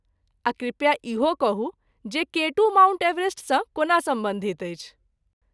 आ कृपया इहो कहू जे केटू माउंट एवरेस्टसँ कोना सम्बन्धित छै?